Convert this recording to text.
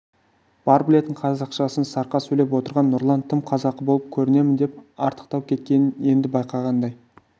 бар білетін қазақшасын сарқа сөйлеп отырған нұрлан тым қазақы болып көрінемін деп артықтау кеткенін енді байқағандай